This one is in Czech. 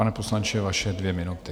Pane poslanče, vaše dvě minuty.